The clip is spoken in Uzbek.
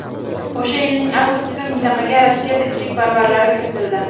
O‘sha yilning avgustida mintaqaga Rossiya tinchlikparvarlari kiritildi.